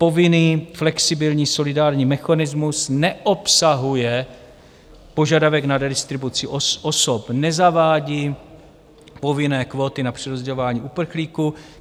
Povinný flexibilní solidární mechanismus neobsahuje požadavek na redistribuci osob, nezavádí povinné kvóty na přerozdělování uprchlíků.